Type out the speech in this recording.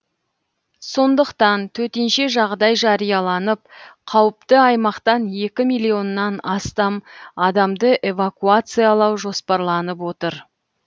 сондықтан төтенше жағдай жарияланып қауіпті аймақтан екі миллионнан астам адамды эвакуациялау жоспарланып отыр